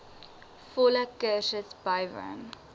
volle kursus bywoon